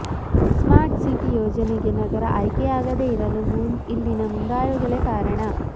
smart city ಯೋಜನೆಗೆ ನಗರ ಆಯ್ಕೆಯಾಗದೇ ಇರಲು ಇಲ್ಲಿನ ಮುಂದಾಳುಗಳೇ ಕಾರಣ